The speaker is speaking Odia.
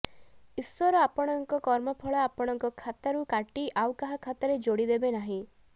ଈଶ୍ୱର ଆପଣଙ୍କ କର୍ମଫଳ ଆପଣଙ୍କ ଖାତାରୁ କାଟି ଆଉ କାହା ଖାତାରେ ଯୋଡ଼ିଦେବେ ନାହିଁ